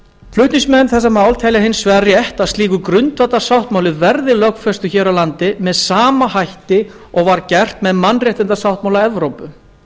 flutningsmenn telja hins vegar rétt að slíkur grundvallarsáttmáli verði lögfestur hér á landi með sama hætti og gert var með mannréttindasáttmála evrópu